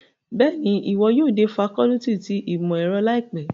Bẹ́ẹ̀ni, iwọ yóò de facọluti ti imọ-ẹrọ laipe